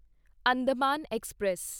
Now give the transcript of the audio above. Andaman express